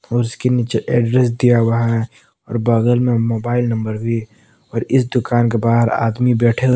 और उसके नीचे एड्रेस दिया हुआ है और बगल में मोबाइल नंबर भी और इस दुकान के बाहर आदमी बैठे हुए--